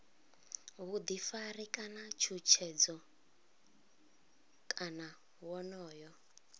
vhuḓifari kana tshutshedzo kana wonoyo